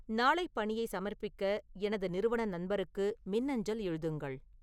நாளை பணியை சமர்ப்பிக்க எனது நிறுவன நண்பருக்கு மின்னஞ்சல் எழுதுங்கள்